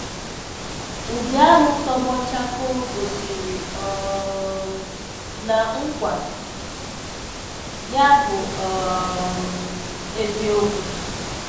Udi ahụ tọgbọ chakoo gosiri um na nkwa ya bụ um eziokwu.